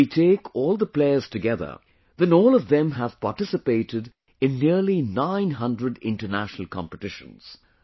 If we take all the players together, then all of them have participated in nearly nine hundred international competitions